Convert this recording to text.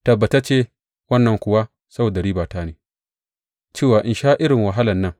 Tabbatacce wannan kuwa saboda ribata ne cewa in sha irin wahalan nan.